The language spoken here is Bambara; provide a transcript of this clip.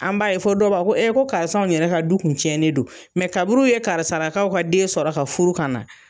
An b'a ye fɔ dɔw b'a fɔ ko e ko karisa yɛrɛ ka du kun tiɲɛnen do, kaburuw ye karisalakaw ka den sɔrɔ ka furu kan na.